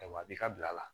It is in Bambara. Ayiwa a b'i ka bila la